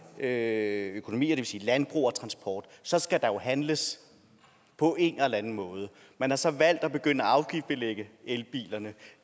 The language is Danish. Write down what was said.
økonomier det vil sige landbrug og transport og så skal der jo handles på en eller anden måde man har så valgt at begynde at afgiftsbelægge elbilerne